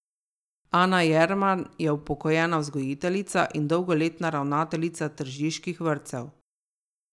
Ana Jerman je upokojena vzgojiteljica in dolgoletna ravnateljica tržiških vrtcev.